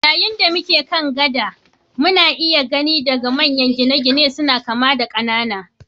Yayin da muke kan gada, muna iya gani daga manyan gine-gine suna kama da ƙanana.